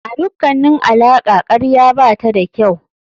A dukkanin alaƙa karya bata da kyau.